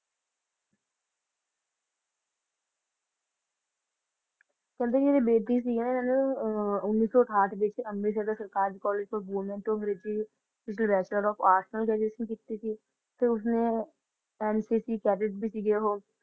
ਕਹਿੰਦੇ ਜਿਹੜੀ ਬੇਦੀ ਸੀ ਨਾ ਅਹ ਉੱਨੀ ਸੌ ਅਠਾਹਠ ਵਿੱਚ ਅੰਮ੍ਰਿਤਸਰ ਦੇ ਸਰਕਾਰੀ college ਤੋਂ ਬੋਲਣ ਤੋਂ ਅੰਗਰੇਜ਼ੀ ਚ bachelor of arts graduation ਕੀਤੀ ਸੀ ਤੇ ਉਸਨੇ NCC cadet ਵੀ ਸੀਗੇ ਉਹ